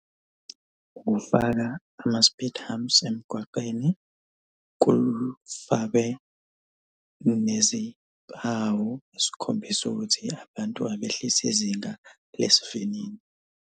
Ufaka ama-speed humps emgwaqeni. Kufakwe nezimpawu ezikhombisa ukuthi abantu abehlise izinga lesi vinini.